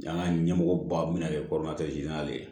An ka ɲɛmɔgɔ ba bɛna kɛ